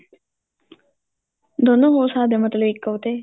ਦੋਨੋ ਹੋ ਸਕਦੇ ਏ ਮਤਲਬ ਇੱਕ ਉਹ ਤੇ